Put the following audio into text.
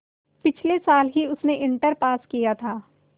पिछले साल ही उसने इंटर पास किया था